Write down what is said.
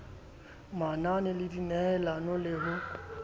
manane le dinehelano le ho